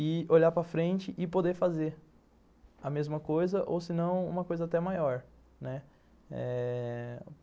e olhar para frente e poder fazer a mesma coisa, ou se não, uma coisa até maior, né. Eh...